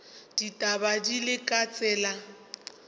ditaba di le ka tsela